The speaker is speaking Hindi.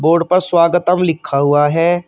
बोर्ड पर स्वागतम लिखा हुआ है।